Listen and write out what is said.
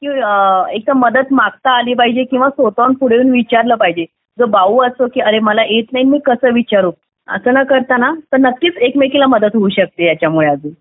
की एक तर मदत मागता आली पाहिजे किंवा स्वतःहून पुढे येऊन विचारलं पाहिजे जो भाऊ असतो अरे की मला येत नाही मी कसं विचारू असं न करता ना तर नक्कीच एकमेकींना मदत होऊ शकते याच्यामध्ये अजून